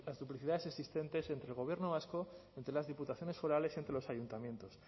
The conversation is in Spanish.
las duplicidades existentes entre el gobierno vasco entre las diputaciones forales y entre los ayuntamientos